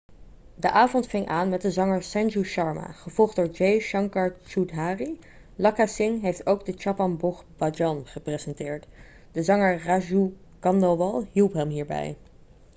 de avond ving aan met de zanger sanju sharma gevolgd door jai shankar choudhary lakka singh heeft ook de chhappan bhog bhajan gepresenteerd de zanger raju khandelwal hielp hem hierbij